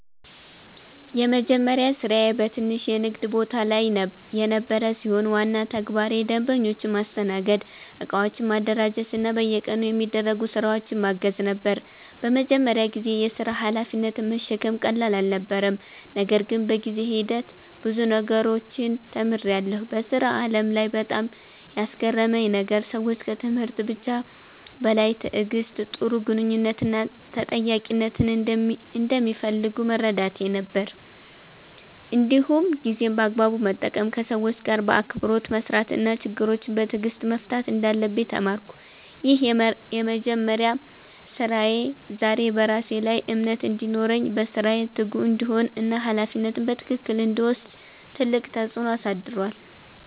የመጀመሪያ ስራዬ በትንሽ የንግድ ቦታ ላይ የነበረ ሲሆን፣ ዋና ተግባሬ ደንበኞችን ማስተናገድ፣ እቃዎችን ማደራጀት እና በየቀኑ የሚደረጉ ስራዎችን ማገዝ ነበር። በመጀመሪያ ጊዜ የሥራ ሀላፊነትን መሸከም ቀላል አልነበረም፣ ነገር ግን በጊዜ ሂደት ብዙ ነገሮችን ተምሬያለሁ። በሥራ ዓለም ላይ በጣም ያስገረመኝ ነገር ሰዎች ከትምህርት ብቻ በላይ ትዕግሥት፣ ጥሩ ግንኙነት እና ተጠያቂነትን እንደሚፈልጉ መረዳቴ ነበር። እንዲሁም ጊዜን በአግባቡ መጠቀም፣ ከሰዎች ጋር በአክብሮት መስራት እና ችግሮችን በትዕግሥት መፍታት እንዳለብኝ ተማርኩ። ይህ የመጀመሪያ ስራዬ ዛሬ በራሴ ላይ እምነት እንዲኖረኝ፣ በስራዬ ትጉ እንድሆን እና ሀላፊነትን በትክክል እንድወስድ ትልቅ ተጽዕኖ አሳድሯል።